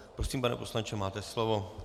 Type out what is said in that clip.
Prosím, pane poslanče, máte slovo.